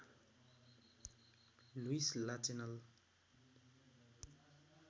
Lewis Lachenal